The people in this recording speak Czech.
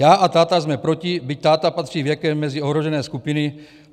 Já a táta jsme proti, byť táta patří věkem mezi ohrožené skupiny.